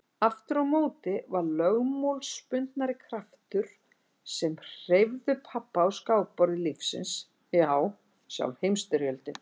Aftur á móti voru lögmálsbundnari kraftar sem hreyfðu pabba á skákborði lífsins já sjálf Heimsstyrjöldin.